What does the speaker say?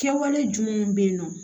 Kɛwale jumɛnw bɛ yen nɔ